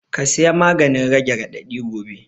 Ka saya maganin rage raɗaɗi gobe